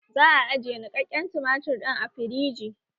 Za a ajiye niƙaƙƙen tumatir ɗin a firiji